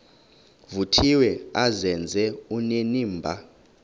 vuthiwe azenze onenimba